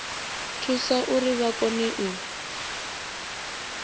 thusa uri vha kone u